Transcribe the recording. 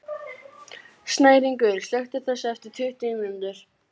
Snæringur, slökktu á þessu eftir tuttugu mínútur.